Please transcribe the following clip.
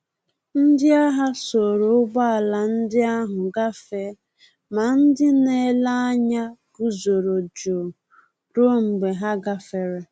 Ndị agha soro ụgbọala ndi ahụ gafee, ma ndị na-ele anya guzoro jụụ ruo mgbe ha gafere